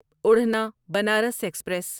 اڑھنا Banaras express